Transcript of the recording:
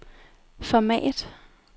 format